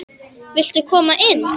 Viltu koma inn?